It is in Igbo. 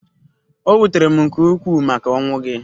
O wutere m nke ukwuu maka ọnwụ gị.